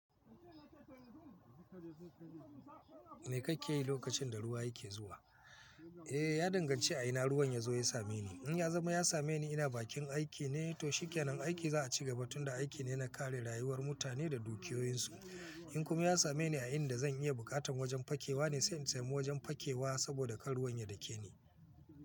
Me kake yi lokacin da ruwa yake zuwa? Eh, ya danganci a ina ruwan ya zo ya same ni. In ya zama ya same ni ina bakin aiki ne, to shikenan, aiki za a ci gaba tun da aiki ne na kare rayuwar mutane da dukiyoyinsu. In kuma ya same ni a inda zan iya bukatan wajen fakewa ne, sai in sami wajen fakewa saboda kar ruwan ya dake ni.